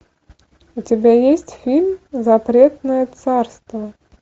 у тебя есть фильм запретное царство